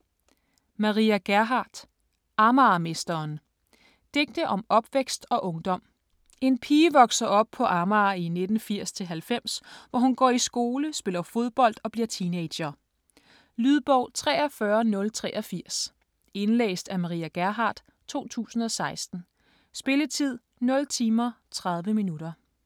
Gerhardt, Maria: Amagermesteren Digte om opvækst og ungdom. En pige vokser op på Amager i 1980-90, hvor hun går i skole, spiller fodbold og bliver teenager. Lydbog 43083 Indlæst af Maria Gerhardt, 2016. Spilletid: 0 timer, 30 minutter.